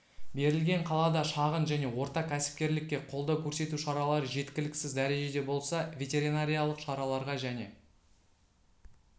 берілген қалада шағын және орта кәсіпкерлікке қолдау көрсету шаралары жеткіліксіз дәрежеде болса ветеринариялық шараларға және